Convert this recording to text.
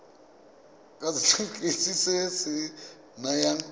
ke setefikeiti se se nayang